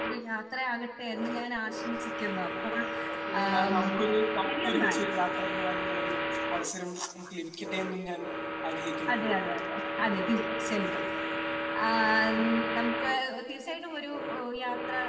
യാത്ര ആകട്ടെ എന്ന് ഞാൻ ആശംസിക്കുന്നു അപ്പോൾ ശരി എന്നാൽ അതേ അതേ അതേ അതേ തീർച്ചയായിട്ടും ആ നമുക്ക് തീർച്ചയായിട്ടും ഒരു യാത്ര